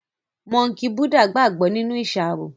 Mọ́ńkì Búdà gbàgbó nínú iṣaro